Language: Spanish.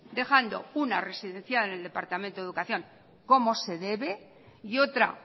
dejando una residenciada en el departamento de educación como se debe y otra